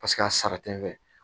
Paseke a sara tɛ n fɛ